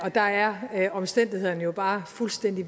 der er omstændighederne jo bare fuldstændig